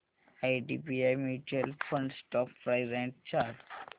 IDBI mutual fund stock price and chart